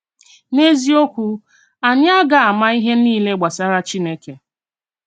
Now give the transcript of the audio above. N’eziòkwù, ányì à gà-àmá ìhè niile gbasàrà Chínèkè.